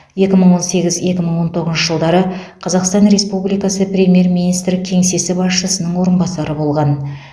екі мың он сегіз екі мың он тоғызыншы жылдары қазақстан республикасы премьер министр кеңсесі басшысының орынбасары болған